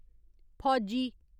फौजी